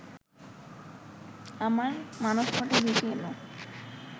আমার মানসপটে ভেসে এলো